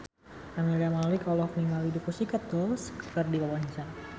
Camelia Malik olohok ningali The Pussycat Dolls keur diwawancara